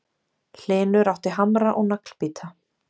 Hlynur átti hamra og naglbíta